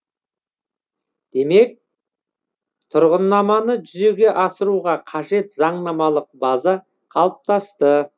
демек тұғырнаманы жүзеге асыруға қажет заңнамалық база қалыптасты